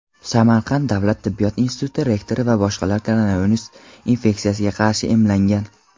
Samarqand davlat tibbiyot instituti rektori va boshqalar koronavirus infeksiyasiga qarshi emlangan.